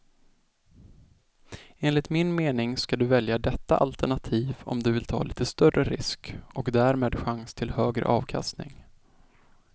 Enligt min mening ska du välja detta alternativ om du vill ta lite större risk och därmed chans till högre avkastning.